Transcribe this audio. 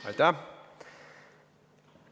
Aitäh!